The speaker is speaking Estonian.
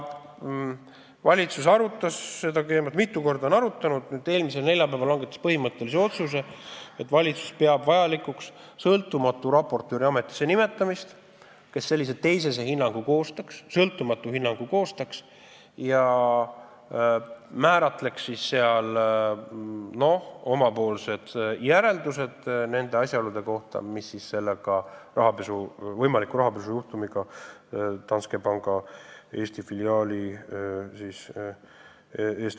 Valitsus on seda teemat mitu korda arutanud ja eelmisel neljapäeval langetasime põhimõttelise otsuse, et tuleb ametisse nimetada sõltumatu raportöör, kes sellise teisese, sõltumatu hinnangu koostaks ja esitaks omapoolsed järeldused asjaolude kohta, mis on seotud selle võimaliku rahapesujuhtumiga Danske panga Eesti filiaalis.